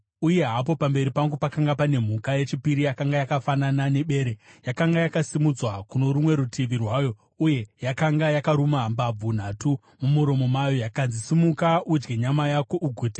“Uye hapo pamberi pangu pakanga pane mhuka yechipiri, yakanga yakafanana nebere. Yakanga yakasimudzwa kuno rumwe rutivi rwayo, uye yakanga yakaruma mbabvu nhatu mumuromo mayo. Yakanzi, ‘Simuka udye nyama yako ugute!’